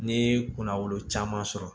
Ne kunna wolo caman sɔrɔ